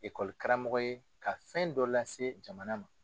ye ka fɛn dɔ lase jamana ma.